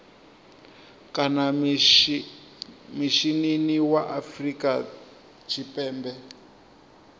kana mishinini wa afrika tshipembe